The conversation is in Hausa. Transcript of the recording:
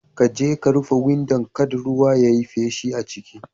Kaje ka rufe windo kada ruwa ya yi feshi a ciki.